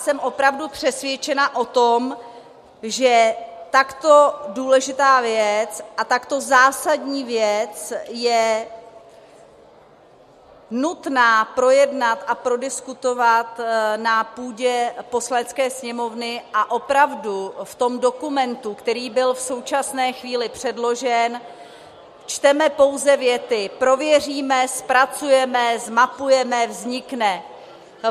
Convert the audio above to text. Jsem opravdu přesvědčena o tom, že takto důležitou věc a takto zásadní věc je nutné projednat a prodiskutovat na půdě Poslanecké sněmovny, a opravdu v tom dokumentu, který byl v současné chvíli předložen, čteme pouze věty: prověříme, zpracujeme, zmapujeme, vznikne.